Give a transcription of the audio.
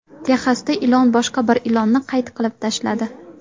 Texasda ilon boshqa bir ilonni qayt qilib tashladi .